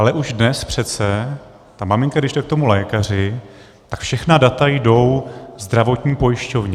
Ale už dnes přece - a maminka, když jde k tomu lékaři, tak všechna data jdou zdravotní pojišťovně.